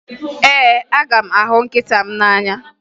Ee, aga m ahụ nkịta m n'anya